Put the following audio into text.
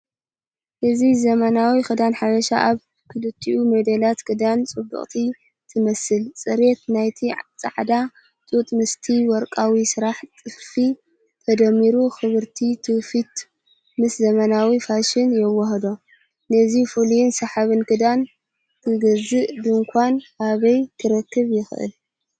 እዚ ዘመናዊ ክዳን ሓበሻ ኣብ ክልቲኡ ሞዴላት ክንደይ ጽብቕቲ ትመስል! ጽሬት ናይቲ ጻዕዳ ጡጥ ምስቲ ወርቃዊ ስራሕ ጥልፊ ተደሚሩ ክብሪ ትውፊት ምስ ዘመናዊ ፋሽን የወሃህዶ። ነዚ ፍሉይን ሰሓብን ክዳን ክገዝእ ድኳን ኣበይ ክረክብ ይኽእል?